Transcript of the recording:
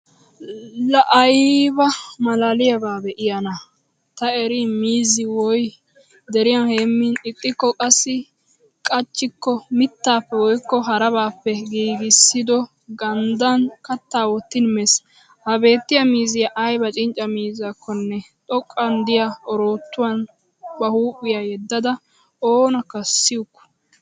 Laa ayba maalaaliyaabaa be'iyaanaa! Ta eriin miizzi woy deriyan heemin, ixxikko qassi qachchikko mittaappe woykko harabaappe giigissido ganddaan kattaa wottin mees. Ha beettiya mizziya aybba cincca miizzakkonne xoqqan diya orootyuwan ba huuphphiya yedada oonakka siyukku!